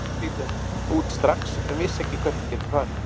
Ég yrði að flytja út strax en vissi ekki hvert ég gæti farið.